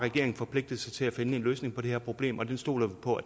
forpligtet sig til at finde en løsning på det her problem og den stoler vi på